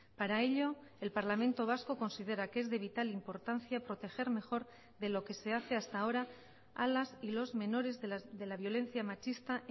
para ello el parlamento vasco considera que es de vital importancia proteger mejor de lo que se hace hasta ahora a las y los menores de la violencia machista